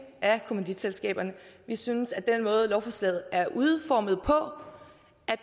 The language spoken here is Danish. af kommanditselskaberne vi synes at med den måde lovforslaget er udformet på